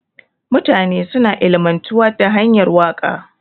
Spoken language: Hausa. Mutane suna ilimantuwa da hanyar waka.